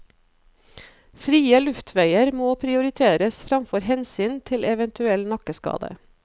Frie luftveier må prioriteres framfor hensyn til eventuell nakkeskade.